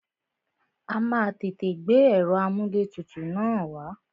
A má a tètè gbé ẹ̀rọ amúlẹ̀tutù na wá.